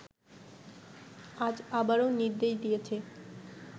আজ আবারও নির্দেশ দিয়েছে